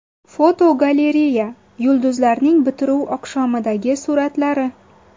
Fotogalereya: Yulduzlarning bitiruv oqshomidagi suratlari.